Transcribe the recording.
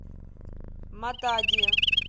матади